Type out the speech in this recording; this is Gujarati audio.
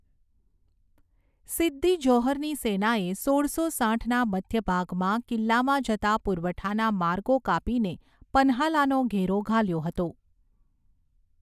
સિદ્દી જૌહરની સેનાએ સોળસો સાઠના મધ્યભાગમાં, કિલ્લામાં જતા પુરવઠાનો માર્ગો કાપીને પન્હાલાનો ઘેરો ઘાલ્યો હતો.